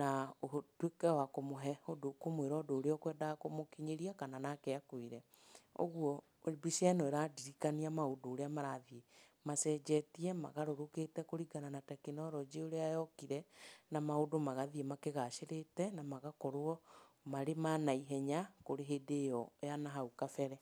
na ũtuĩke wa kũmũhe ũndũ ũkũmwĩra ũndũ ũrĩa ũkwendaga kũmũkinyĩria kana nake akwĩre. Ũguo mbica ĩno ĩrandirikania maũndũ ũrĩa maũndũ marathiĩ macenjetie magarũrũkĩte kũringana na tekinoronjĩ ũrĩa yokir,e na maũndũ magathiĩ makĩgacĩrĩte na magakorwo marĩ ma naihenya, kũrĩ hĩndĩ ĩyo ya na hau kabere.